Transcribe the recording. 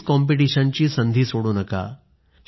quiz कॉम्पिटिशनची संधी सोडू नका